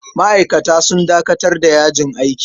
Ma'aikata sun dakatar da yajin aiki jiya.